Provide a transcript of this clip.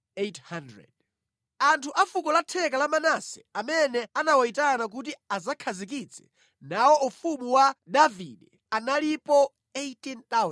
Anthu a fuko latheka la Manase amene anawayitana kuti adzakhazikitse nawo ufumu wa Davide analipo 18,000;